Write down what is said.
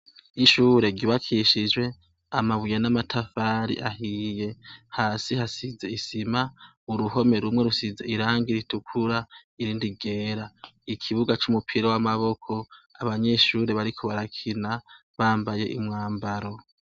Ishure ryubakishijwe amabuye n'amatafari ahiye. Hasi hasize isima mu ruhome rumwe hasize irangi ritukura n'irindi ryera. Ikibuga c'umupira w'amaboko abanyeshure bariko barakina bambaye umwambaro.